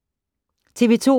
TV 2